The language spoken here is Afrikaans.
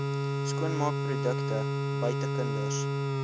skoonmaakprodukte buite kinders